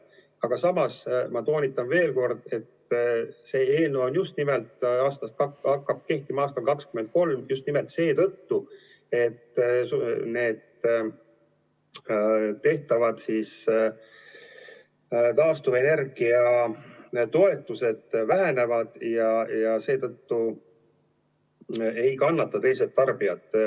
Aga samas ma toonitan veel kord, et see eelnõu hakkab kehtima aastal 2023 just nimelt seetõttu, et need taastuvenergia toetused vähenevad ja seetõttu ei kannata teised tarbijad.